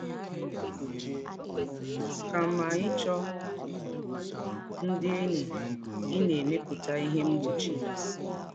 Kàmá íchọ́ ndị̀ ényí, í na-èmèpùtà íhè mgbòchì.